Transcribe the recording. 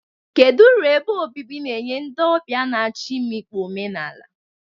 Kedu uru ebe obibi na-enye ndị ọbịa na-achọ imikpu omenala?